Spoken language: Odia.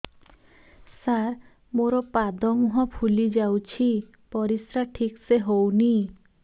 ସାର ମୋରୋ ପାଦ ମୁହଁ ଫୁଲିଯାଉଛି ପରିଶ୍ରା ଠିକ ସେ ହଉନି